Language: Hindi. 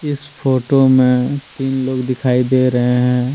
इस फोटो में तीन लोग दिखाई दे रहे हैं।